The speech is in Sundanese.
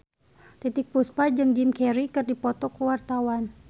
Titiek Puspa jeung Jim Carey keur dipoto ku wartawan